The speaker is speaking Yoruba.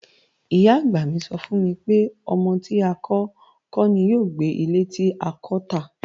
Ìyá-àgbà mi sọ fún mi pé, "ọmọ tí a kò kọ́ ní yóò gbé ilé tí a kọ́ tà"